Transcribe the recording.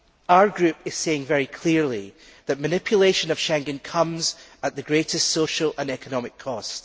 Our group is saying very clearly that manipulation of Schengen comes at the greatest social and economic cost.